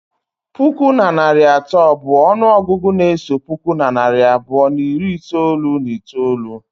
Puku na narị atọ bụ ọnụọgụgụ na-eso puku na narị abụọ na iri itolu na itolu.